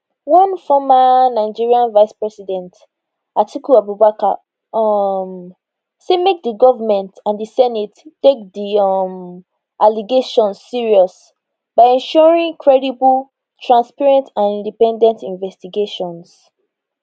one former nigeria vice president atiku abubakar um say make di goment and di senate take di um allegations serious by ensuring credible transparent and independent investigations